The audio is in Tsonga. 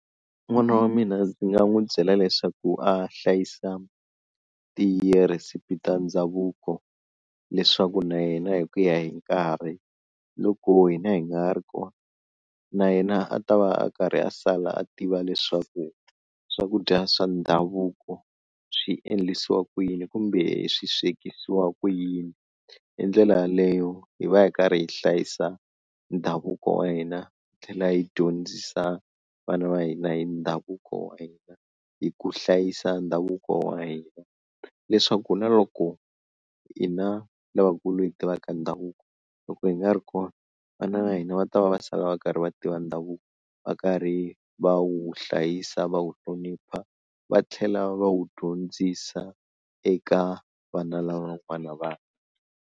N'wana wa mina ndzi nga n'wi byela leswaku a hlayisa tirhisipi ta ndhavuko leswaku na yena hi ku ya hi nkarhi loko hina hi nga ha ri kona na yena a ta va a karhi a sala a tiva leswaku swakudya swa ndhavuko swi endlisiwa ku yini kumbe swi swekisiwa ku yini, hi ndlela yaleyo hi va hi karhi hi hlayisa ndhavuko wa hina hi tlhela hi dyondzisa vana va hina hi ndhavuko wa hina hi ku hlayisa ndhavuko wa hina leswaku na loko hina lavakulu hi tivaka ndhavuko, loko hi nga ri kona vana va hina va ta va va sala va karhi va tiva ndhavuko va karhi va wu hlayisa va wu hlonipha va tlhela va wu dyondzisa eka vana lavan'wana vana.